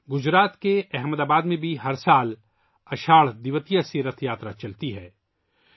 ہر سال گجرات کے احمد آباد میں اساڑھ دویتیہ سے رتھ یاترا نکلتی ہے